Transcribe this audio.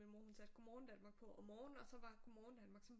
Min mor hun satte Godmorgen Danmark på om morgenen og så var Godmorgen Danmark sådan